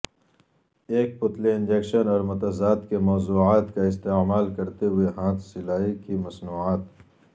ایک پتلی انجکشن اور متضاد کے موضوعات کا استعمال کرتے ہوئے ہاتھ سلائی کی مصنوعات